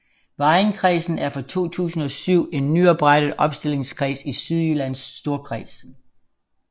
Vejenkredsen er fra 2007 en nyoprettet opstillingskreds i Sydjyllands Storkreds